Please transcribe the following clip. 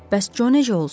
Bəs Co necə olsun?